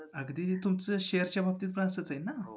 अगदी तुमचं shares च्या बाबतीत पण असंच आहे ना?